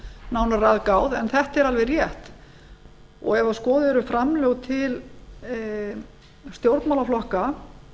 nánar er að gáð en þetta er alveg rétt ef skoðuð eru framlög til stjórnmálaflokka